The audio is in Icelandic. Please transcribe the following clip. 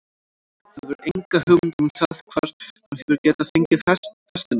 Þú hefur enga hugmynd um það hvar hann hefur getað fengið festina?